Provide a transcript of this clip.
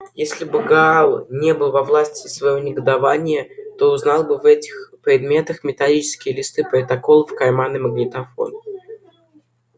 если бы гаал не был во власти своего негодования то узнал бы в этих предметах металлические листы протоколов и карманный магнитофон